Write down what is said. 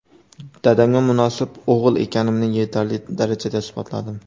Dadamga munosib o‘g‘il ekanimni yetarli darajada isbotladim.